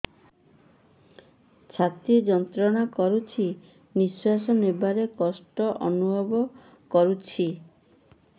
ଛାତି ଯନ୍ତ୍ରଣା କରୁଛି ନିଶ୍ୱାସ ନେବାରେ କଷ୍ଟ ଅନୁଭବ କରୁଛି